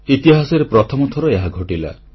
ଇତିହାସରେ ପ୍ରଥମ ଥର ଏହା ଘଟିଲା